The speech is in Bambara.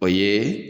O ye